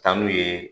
Taa n'u ye